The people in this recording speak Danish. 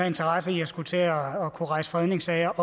interesse i at skulle til også at rejse fredningssager